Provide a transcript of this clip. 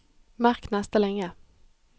Merk neste linje